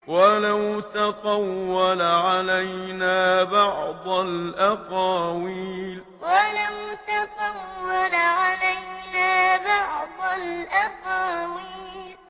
وَلَوْ تَقَوَّلَ عَلَيْنَا بَعْضَ الْأَقَاوِيلِ وَلَوْ تَقَوَّلَ عَلَيْنَا بَعْضَ الْأَقَاوِيلِ